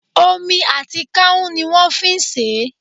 Omi àti kánún ni wón fi n sèé